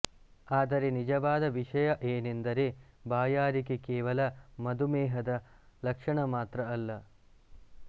ಆದರೆ ನಿಜವಾದ ವಿಷಯ ಏನೆಂದರೆ ಬಾಯಾರಿಕೆ ಕೇವಲ ಮಧುಮೇಹದ ಲಕ್ಷಣ ಮಾತ್ರ ಅಲ್ಲ